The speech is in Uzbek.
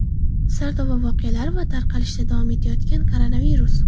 Sardoba voqealari va tarqalishda davom etayotgan koronavirus.